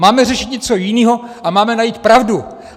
Máme řešit něco jiného a máme najít pravdu!